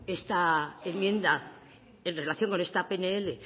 esta enmienda en relación con esta pnl